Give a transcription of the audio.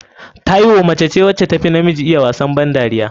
Taiwo mace ce wanda tafi namiji iya wasa ban dariya.